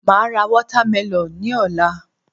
Màá ra watermelon ní òla